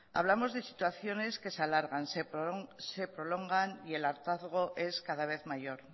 hablamos de situaciones que se alargan se prolongan y el hartazgo es cada vez mayor